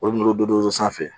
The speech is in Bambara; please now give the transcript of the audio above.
Olu n'o dodod'o sanfɛ